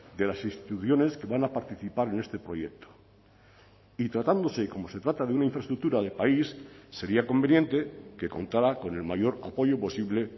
de las instituciones que van a participar en este proyecto y tratándose como se trata de una infraestructura de país sería conveniente que contara con el mayor apoyo posible